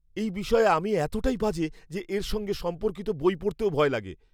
এই বিষয়ে আমি এতটাই বাজে যে এর সঙ্গে সম্পর্কিত বই পড়তেও ভয় লাগে।